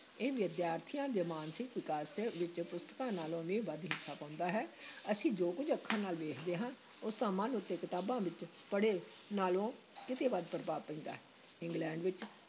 ਇਹ ਵਿਦਿਆਰਥੀਆਂ ਦੇ ਮਾਨਸਿਕ ਵਿਕਾਸ ਵਿਚ ਪੁਸਤਕਾਂ ਨਾਲੋਂ ਵੀ ਵੱਧ ਹਿੱਸਾ ਪਾਉਂਦਾ ਹੈ ਅਸੀਂ ਜੋ ਕੁੱਝ ਅੱਖਾਂ ਨਾਲ ਦੇਖਦੇ ਹਾਂ, ਉਸ ਦਾ ਮਨ ਉੱਤੇ ਕਿਤਾਬਾਂ ਵਿੱਚ ਪੜ੍ਹੇ ਨਾਲੋਂ ਕਿਤੇ ਵੱਧ ਪ੍ਰਭਾਵ ਪੈਂਦਾ ਹੈ, ਇੰਗਲੈਂਡ ਵਿੱਚ